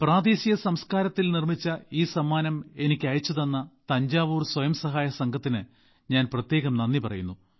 പ്രാദേശിക സംസ്കാരത്തിൽ നിർമ്മിച്ച ഈ സമ്മാനം എനിക്ക് അയച്ചുതന്ന തഞ്ചാവൂർ സ്വയം സഹായ സംഘത്തിന് ഞാൻ പ്രത്യേകം നന്ദി പറയുന്നു